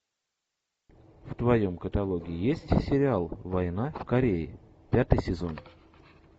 в твоем каталоге есть сериал война в корее пятый сезон